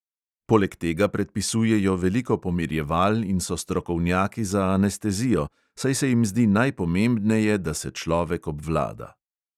Poleg tega predpisujejo veliko pomirjeval in so strokovnjaki za anestezijo, saj se jim zdi najpomembneje, da se človek obvlada.